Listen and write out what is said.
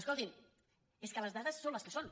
escoltin és que les dades són les que són